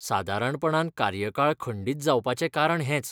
सादारणपणान कार्यकाळ खंडीत जावपाचें कारण हेंच.